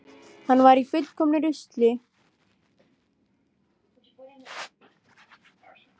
Hann var í fullkomnu rusli út af litlum unga.